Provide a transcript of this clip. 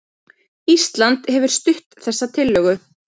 Ísland hefur stutt þessa tillögu